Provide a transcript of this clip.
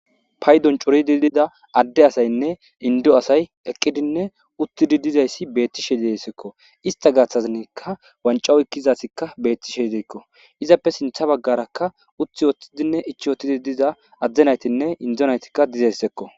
pay doncoridi dida adde asaynne indo asay eqqidinne uttidi dizayssi beettishe diesekko ista gaaththazinika wancawo ekkizasikka beettishe idekko izappe sintha baggarakka uthi woththidinne ichi wotidi diza adzdenaytinne indonaytikka dizessekko